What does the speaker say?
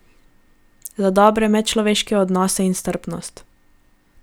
Za dobre medčloveške odnose in strpnost.